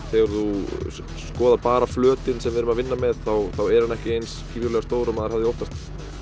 þegar þú skoðar bara flötinn sem við erum að vinna með þá er hann ekki eins gífurlega stór og maður hefði óttast